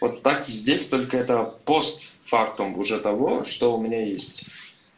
вот так и здесь только это пост фактум уже того что у меня есть